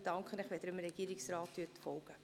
Ich danke Ihnen, wenn Sie dem Regierungsrat folgen.